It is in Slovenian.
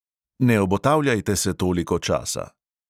Ne obotavljajte se toliko časa.